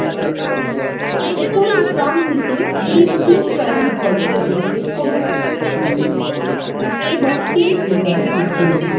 উপরে ডান দিকে display query বিকল্পের উপর ক্লিক করুন এবং finish বোতামে ক্লিক করুন